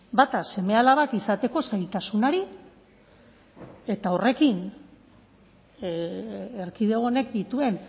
bata seme alabak izateko zailtasunari eta horrekin erkidego honek dituen